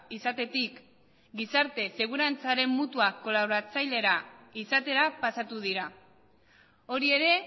izatetik gizarte segurantzaren mutua kolaboratzailera izatera pasatu dira hori ere